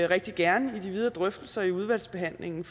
rigtig gerne i de videre drøftelser i udvalgsbehandlingen